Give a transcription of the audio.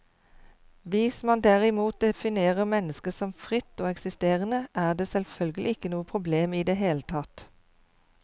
Hvis man derimot definerer mennesket som fritt og eksisterende, er det selvfølgelig ikke noe problem i det hele tatt.